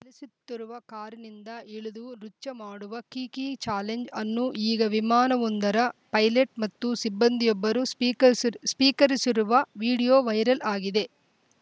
ಚಲಿಸುತ್ತಿರುವ ಕಾರಿನಿಂದ ಇಳಿದು ನೃತ್ಯ ಮಾಡುವ ಕೀಕೀ ಚಾಲೆಂಜ್‌ ಅನ್ನು ಈಗ ವಿಮಾನವೊಂದರ ಪೈಲಟ್‌ ಮತ್ತು ಸಿಬ್ಬಂದಿಯೊಬ್ಬರು ಸ್ಪೀಕರಸ್ ಸ್ಪೀಕರಿಸಿರುವ ವಿಡಿಯೊ ವೈರಲ್‌ ಆಗಿದೆ